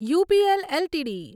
UPL LTD